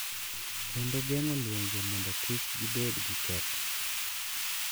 Kendo geng’o lwenje mondo kik gibed gi ketho.